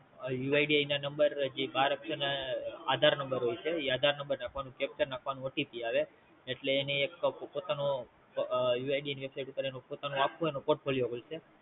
UID ના જે બાર અક્ષર ના આધાર Number હોય છે ઈ આધાર Number નાખવાનું Capcha નાખવાનું OTP આવે એટલે એને એક પોતાનું UID ની Website ઉપર પોતાનું આખ્ખું એનું Portfoilio ખુલશે